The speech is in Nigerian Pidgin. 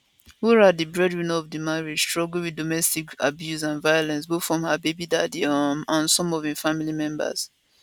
wura di breadwinner of di marriage struggle wit domestic abuse and violence both from her baby daddy um and some of im family members